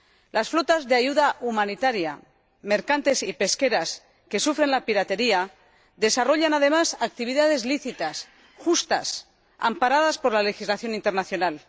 Las flotas de ayuda humanitaria, mercantes y pesqueras que sufren la piratería desarrollan, además, actividades lícitas, justas, amparadas por la legislación internacional.